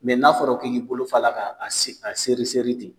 n'a fɔra k'i k'i bolo fa a la ka a seri seri ten